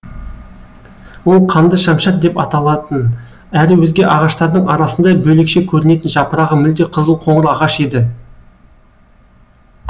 ол қанды шамшат деп аталатын әрі өзге ағаштардың арасында бөлекше көрінетін жапырағы мүлде қызыл қоңыр ағаш еді